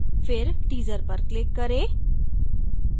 फिर teaser पर click करें